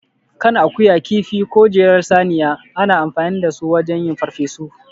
Kan akuya, kifi, ko jelar saniya, ana amfani da su wajen yin farfesu.